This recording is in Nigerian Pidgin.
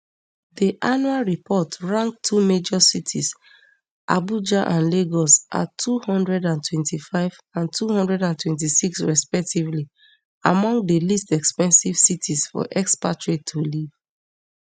di annual report rank two major cities abuja and lagos at two hundred and twenty-five and two hundred and twenty-six respectively among di least expensive cities for expatriates to live